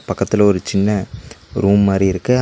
பக்கத்துல ஒரு சின்ன ரூம் மாரி இருக்கு